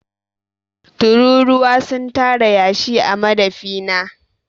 Tururuwa sun tara yashi a madafi na.